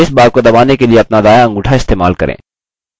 space bar को दबाने के लिए अपना दायाँ अंगूठा इस्तेमाल करें